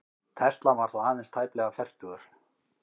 Tesla var þá aðeins tæplega fertugur.